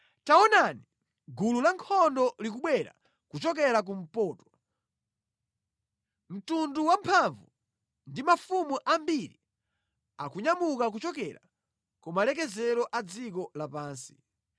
“Taonani! Gulu lankhondo likubwera kuchokera kumpoto; mtundu wa anthu amphamvu pamodzi ndi mafumu ambiri, wanyamuka kuchokera kumathero a dziko lapansi.